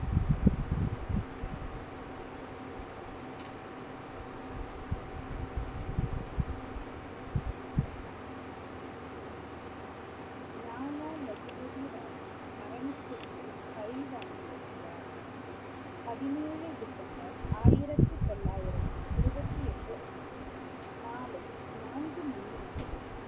லாலா லஜபதி ராயின் மரணத்திற்கு பழி வாங்கியது யார்? பதினேழு டிசம்பர் ஆயிரத்தி தொள்ளயிரத்தி இருவத்தி எட்டு அன்று மாலை நான்கு மணி அளவில்